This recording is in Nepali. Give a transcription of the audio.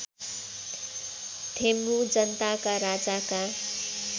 थेम्बु जनताका राजाका